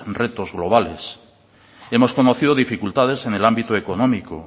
retos globales hemos conocido dificultades en el ámbito económico